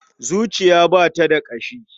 Zuciya ba ta da ƙashi.